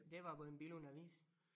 Det var på en Billund Avis